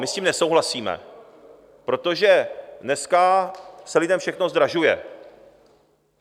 My s tím nesouhlasíme, protože dneska se lidem všechno zdražuje.